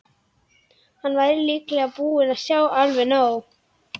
Hann væri líklega búinn að sjá alveg nóg.